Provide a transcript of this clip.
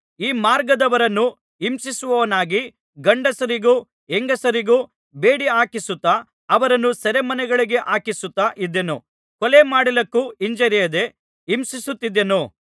ಈ ಮಾರ್ಗದವರನ್ನು ಹಿಂಸಿಸುವವನಾಗಿ ಗಂಡಸರಿಗೂ ಹೆಂಗಸರಿಗೂ ಬೇಡಿಹಾಕಿಸುತ್ತಾ ಅವರನ್ನು ಸೆರೆಮನೆಗಳಿಗೆ ಹಾಕಿಸುತ್ತಾ ಇದ್ದೆನು ಕೊಲೆ ಮಾಡಲಿಕ್ಕೂ ಹಿಂಜರಿಯದೆ ಹಿಂಸಿಸುತ್ತಿದ್ದೆನು